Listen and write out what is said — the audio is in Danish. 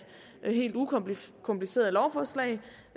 helt ukompliceret ukompliceret lovforslag